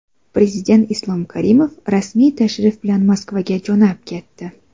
Prezident Islom Karimov rasmiy tashrif bilan Moskvaga jo‘nab ketdi.